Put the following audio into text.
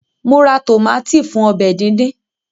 Mo ra tómátì fún ọbẹ̀ díndín